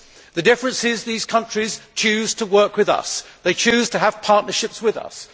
The fact is that these countries choose to work with us. They choose to have partnerships with us.